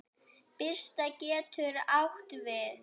Birta getur átt við